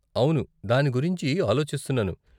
అవును, దాని గురించి ఆలోచిస్తున్నాను.